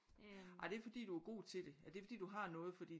Ej det er fordi du er god til det er det fordi du har noget fordi